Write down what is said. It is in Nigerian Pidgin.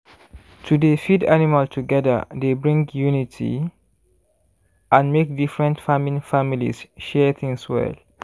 to dey feed animal together dey bring unity and make different farming families share things well.